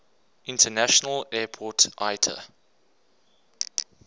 international airport iata